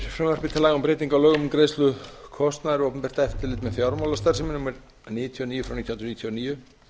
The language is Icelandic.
um breytingu á lögum um greiðslu kostnaðar við opinbert eftirlit með fjármálastarfsemi númer níutíu og níu nítján hundruð níutíu og níu